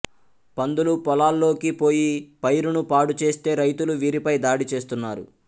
పందులు పోలాల్లోకి పోయి పైరును పాడుచేస్తే రైతులు వీరిపై దాడి చేస్తున్నారు